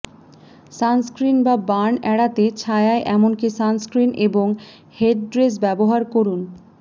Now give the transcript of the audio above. sunscreen বা burn এড়াতে ছায়ায় এমনকি সানস্ক্রীন এবং হেডড্রেস ব্যবহার করুন